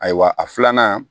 Ayiwa a filanan